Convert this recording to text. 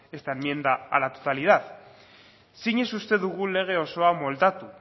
esta enmienda a la totalidad zinez uste dugu lege osoa moldatu